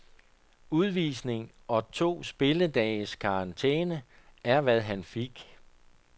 Udvisning og to spilledages karantæne er hvad han fik.